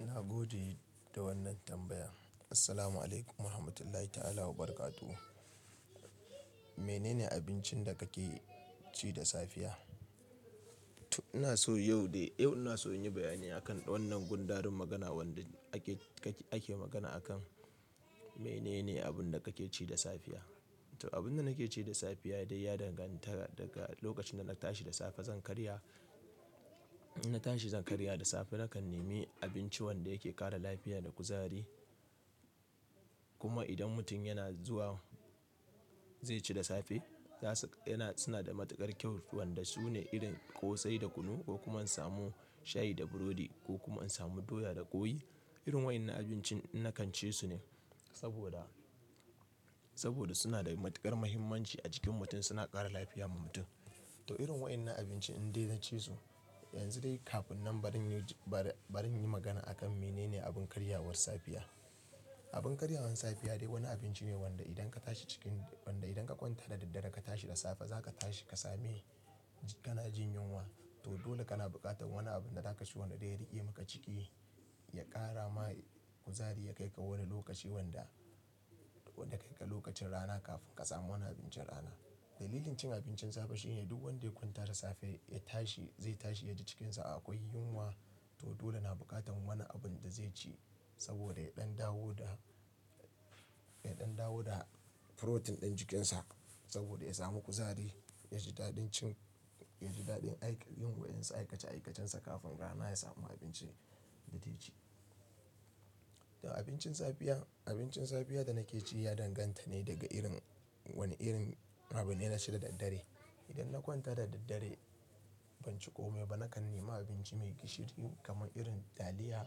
Na gode da wannan tambaya. Assalamu'alaikum warahmatullahi ta'ala wabarakatuh. Mene ne abincin da kake ci da safiya? To ina so yau dai, yau ina so in yi bayani akan wannan gundarin magana wanda ake, kake, ake magana akai. Mene ne abun da kake ci da safiya. To abun da nake ci da safiya dai ya danganta daga lokacin dana ta shi da safe zan karya. In na tashi zan karya da safe nakan nemi abinci wanda yake ƙara lafiya da kuzari. Kuma idan mutum yana zuwa zai ci da safe, za su, yana, suna da matuƙar kyau wanda su ne irin ƙosai da kunu ko kuma in samu shayi da burodi ko kuma in samu doya da ƙwai. Irin wayannan abinci na kan ci su ne saboda, saboda suna da matuƙar muhimmanci a jikin mutum, suna ƙara lafiya ma mutum. To irin waɗannan abinci indai na ci su. Yanzu dai kafin nan bari in yi, bari, bari in yi magana akan mene ne abun karyawar safiya. Abun karyawar safiya dai wani abinci ne wanda idan ka tashi cikin, wanda idan ka kwanta da daddare ka tashi da safe, za ka tashi ka same kana jin yunwa. To dole kana buƙatar wani abu da za ka ci wanda dai riƙe maka ciki, ya ƙara ma kuzari, ya kaika wani lokaci wanda, wanda kai ka lokacin rana kafin ka samu wani abincin rana. Dalilin cin abincin safe shine duk wanda ya kwanta da safe ya tashi zai tashi yaji cikin sa akwai yunwa. To dole na buƙatar wani abun da zai ci saboda ya ɗan dawo da, ya ɗan dawo da furotin ɗin jikinsa saboda ya samu kuzari, ya ji daɗin cin, ya ji daɗin aiki, yin wa yansu aikace aikacensa kafin rana ya samu abinci, dazai ci. To abincin safiya, abincin safiya da nake ci ya danganta ne daga irin, wane irin abu ne na ci da daddare. In na kwanta da daddare ban ci kome ba nakan nema abinci mai gishiri kamar irin taliya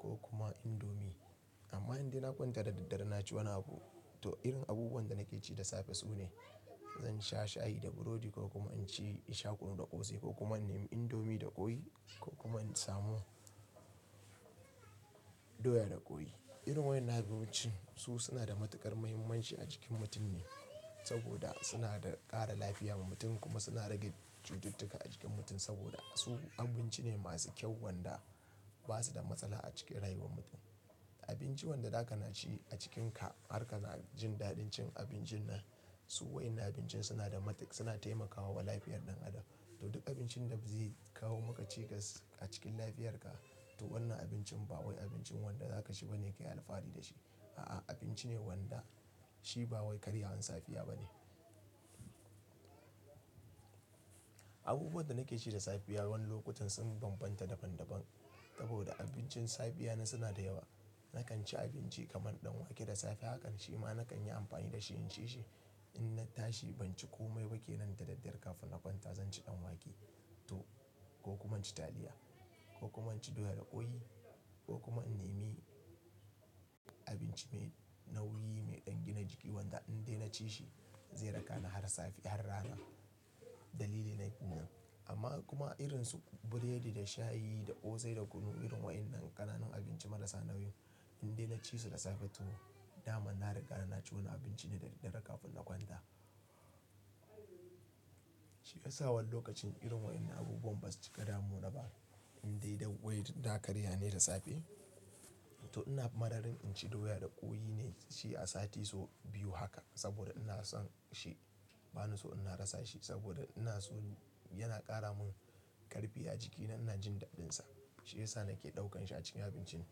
ko kuma indomi. Amma indai na kwanta da daddare na ci wani abu, to irin abubuwan da nake ci da safe su ne. Zan sha shayi da burodi ko kuma in ci in sha kunu da ƙosai ko kuma in nemi indomi da ƙoyi ko kuma in samu doya da ƙoyi. Irin waɗannan abinci su suna da matuƙar muhimmanci a cikin mutum ne saboda suna da ƙara lafiya ma mutum kuma suna rage cututtuka a jikin mutum saboda su abinci ne masu kyau wanda ba su da matsala a cikin rayuwar mutum. Abinci wanda za ka na ci a cikinka har ka na jin daɗin cin abincin nan, su waɗannan abinci suna a matiƙ, suna taimakawa wa lafiyar ɗan adam. To duk abincin da zai kawo maka cikas a cikin lafiyarka, to wannan abincin ba wai abincin wanda za ka ci ba ne ki yi alfahari da shi. A'a, abinci ne wanda shi ba wai karyawar safiya ba ne. Abubuwan da nake ci da safiya wani lokutan sun bambanta daban daban saboda abincin safiya na suna da yawa. Nakan ci abinci kamar ɗan wake da safe hakan shi ma nakan yi amfani da shi in ci shi. In na tashi ban ci komai ba ke nan da daddare kafin na kwanta zan ci ɗan wake to ko kuma in ci taliya ko kuma in ci doya da ƙwai ko kuma in nemi abinci mai nauyi, mai ɗan gina jiki wanda indai na ci shi zai raka ni har safe, har rana. Dalili na kenan. Amma kuma irin su biredi da shayi da ƙosai da kunu irin waɗannan ƙananan abinci marasa nauyi indai na ci su da safe to dama na riga na ci wani abinci ne dadaddare kafin na kwanta. Shi ya sa wani lokacin irin waɗannan abubuwan ba su cika damu na ba indai dai wai na karya ne da safe. To ina mararin in ci doya da ƙoyi ne shi a sati so biyu haka saboda ina son shi. Ba na so ina rasa shi saboda ina so yana ƙara mun ƙarfi a jikina, ina jin daɗinsa. Shi ya sa nake ɗaukan shi a cikin abincin.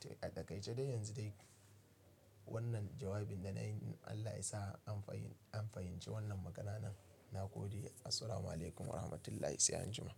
To a daƙaice de yanzu dai wannan jawabin da nayi Allah ya sa an fahim, an fahimci wannan magananan. Na gode. Assalamu'alaikum warahmatullahi sai anjima.